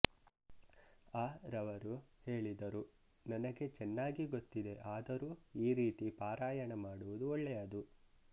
ಅ ರವರು ಹೇಳಿದರು ನನಗೆ ಚೆನ್ನಾಗಿ ಗೊತ್ತಿದೆ ಆದರೂ ಈ ರೀತಿ ಪಾರಾಯಣ ಮಾಡುವುದು ಒಳ್ಳೆಯದು